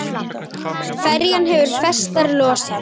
Ferjan hefur festar losað.